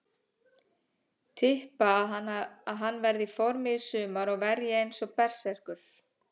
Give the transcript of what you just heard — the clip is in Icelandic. Tippa að hann verði í formi í sumar og verji eins og berserkur.